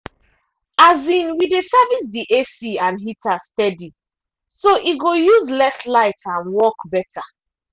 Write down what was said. um we dey service the ac and heater steady so e go use less light and work better.